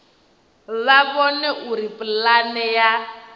vha vhone uri pulane ya